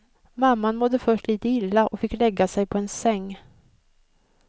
Mamman mådde först illa och fick lägga sig på en säng.